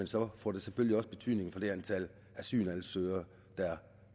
så får det selvfølgelig også betydning for det antal asylansøgere der